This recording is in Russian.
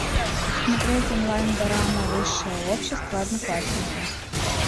смотреть онлайн дорама высшее общество одноклассники